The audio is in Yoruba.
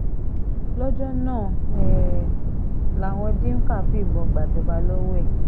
lọ́jọ́ náà um làwọn dimka fìbọn gbàjọba lọ́wọ́ ẹ̀